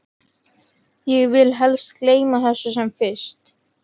Ég vil helst gleyma þessu sem fyrst.